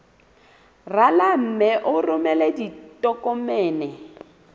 rala mme o romele ditokomene